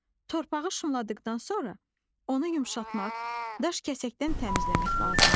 Torpağı şumladıqdan sonra, onu yumşaltmaq, daş-kəsəkdən təmizləmək lazımdır.